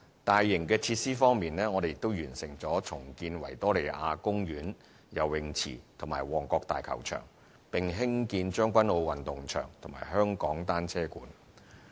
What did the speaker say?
大型設施方面，我們亦完成重建維多利亞公園游泳池和旺角大球場，並興建將軍澳運動場和香港單車館。